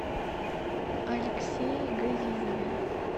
алексее газизове